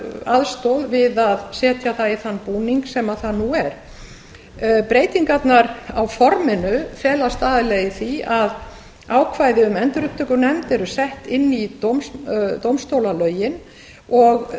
aðstoð við að setja það í þann búning sem það nú er breytingarnar á forminu felast aðallega í því að ákvæði um endurupptökunefnd eru sett inn í dómstólalögin og